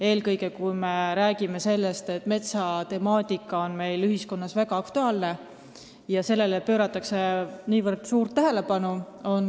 Eelkõige me räägime sellest, et metsatemaatika on meil ühiskonnas väga aktuaalne – sellele pööratakse niivõrd suurt tähelepanu.